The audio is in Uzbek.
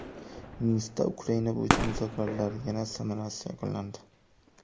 Minskda Ukraina bo‘yicha muzokaralar yana samarasiz yakunlandi.